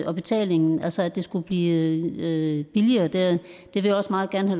og betalingen altså at det skulle blive billigere vil jeg også meget gerne